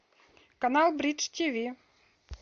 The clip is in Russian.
канал бридж тв